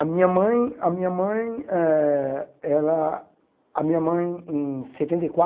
A minha mãe a minha mãe ãh ela a minha mãe, em setenta e